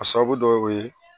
A sababu dɔ ye o ye